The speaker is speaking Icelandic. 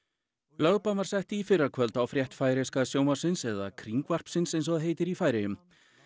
lögbann var sett í fyrrakvöld á frétt færeyska sjónvarpsins eða Kringvarpsins eins og það heitir í Færeyjum